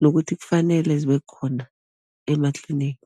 nokuthi kufanele zibe khona ema-clinic.